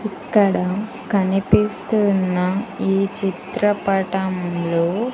ఇక్కడ కనిపిస్తున్న ఈ చిత్రపటంలో--